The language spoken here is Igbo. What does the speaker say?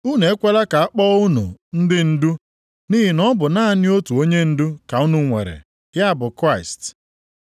Unu ekwela ka a kpọọ unu ndị ndu, nʼihi na ọ bụ naanị otu onyendu ka unu nwere, ya bụ Kraịst.